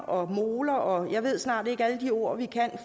og moler og jeg ved snart ikke alle de ord vi kan